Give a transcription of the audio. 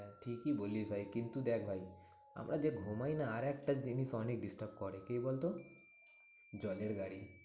ঠিকই বলিস ভাই কিন্তু দেখ ভাই আমরা যে ঘুমাই না আরেকটা জিনিস অনেক disturb করে, কে বলতো? জলের গাড়ি।